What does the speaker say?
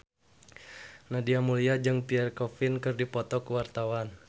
Nadia Mulya jeung Pierre Coffin keur dipoto ku wartawan